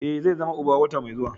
Ee, zai zama uba wata mai zuwa.